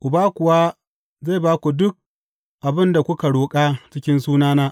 Uba kuwa zai ba ku duk abin da kuka roƙa cikin sunana.